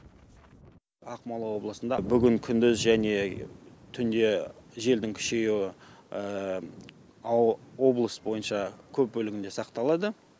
ақмола облысында бүгін күндіз және түнде желдің күшеюі облыс бойынша көп бөлігінде сақталады